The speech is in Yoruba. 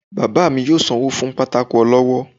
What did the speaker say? baba mí yóò sanwo fún pàtàkó olọwọ